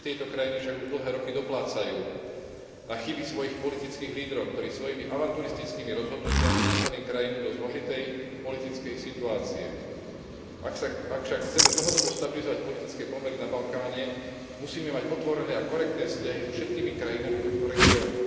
Občania tejto krajiny však už dlhé roky doplácajú na chyby svojich politických lídrov, ktorí svojimi avanturistickými rozhodnutiami dostali krajinu do zložitej politickej situácie. Ak však chceme dlhodobo stabilizovať politické pomery na Balkáne, musíme mať otvorené a korektné vzťahy so všetkými krajinami tohto regiónu.